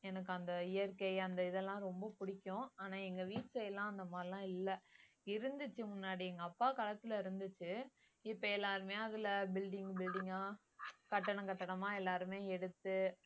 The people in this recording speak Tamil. எனக்கு அந்த இயற்கை அந்த இதெல்லாம் ரொம்ப பிடிக்கும் ஆனா எங்க வீட்டுல எல்லாம் அந்த மாதிரியெல்லாம் இல்ல இருந்துச்சு முன்னாடி எங்க அப்பா காலத்துல இருந்துச்சு இப்ப எல்லாருமே அதுல building building ஆ கட்டடம் கட்டடமா எல்லாருமே எடுத்து